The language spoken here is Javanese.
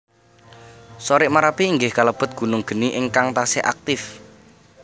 Sorik Marapi inggih kalebet gunung geni ingkang taksih aktif